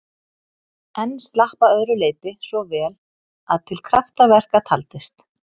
En slapp að öðru leyti svo vel að til kraftaverka taldist.